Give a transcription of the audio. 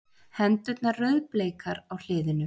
Hendurnar rauðbleikar á hliðinu.